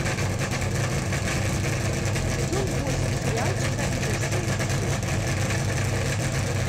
сезон восемь сериальчика изо всех сил